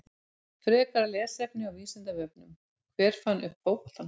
Frekara lesefni á Vísindavefnum: Hver fann upp fótboltann?